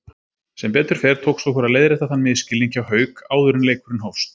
Sem betur fer tókst okkur að leiðrétta þann misskilning hjá Hauk áður en leikurinn hófst.